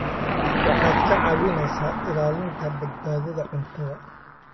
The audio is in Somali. Waxaad ka caawinaysaa ilaalinta badbaadada cuntada.